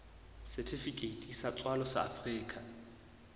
setifikeiti sa tswalo sa afrika